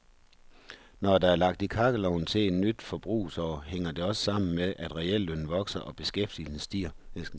Når der er lagt i kakkelovnen til et nyt forbrugsår, hænger det også sammen med, at reallønnen vokser og beskæftigelsen stiger.